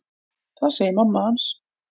Það segir mamma hans.